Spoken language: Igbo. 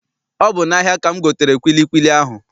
Ọ bụ n'ahia ka m gotere kwilikwili ahụ